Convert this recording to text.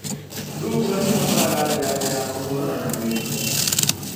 Thungura cibataraga janjo ya kũhũrana na mĩrimũ.